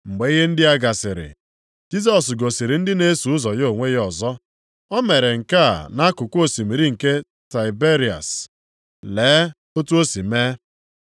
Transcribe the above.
Mgbe ihe ndị a gasịrị, Jisọs gosiri ndị na-eso ụzọ ya onwe ya ọzọ. O mere nke a nʼakụkụ osimiri nke Tiberịas, + 21:1 Maọbụ, Galili lee otu o si mee.